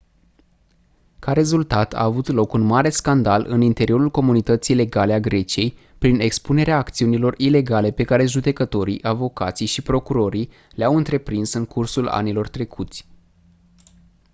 ca rezultat a avut loc un mare scandal în interiorul comunității legale a greciei prin expunerea acțiunilor ilegale pe care judecătorii avocații și procurorii le-au întreprins în cursul anilor trecuți